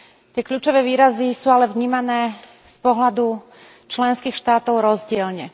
Tie kľúčové výrazy sú ale vnímané z pohľadu členských štátov rozdielne.